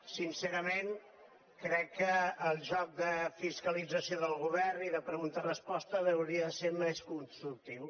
sincerament crec que el joc de fiscalització del govern i de pregunta resposta hauria de ser més constructiu